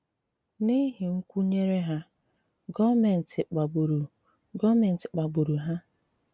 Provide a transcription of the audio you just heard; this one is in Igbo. N’ihi nkwùnyere hà, gọọ̀mèntì kpàgburu gọọ̀mèntì kpàgburu hà.